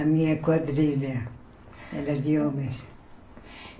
A minha quadrilha era de homens.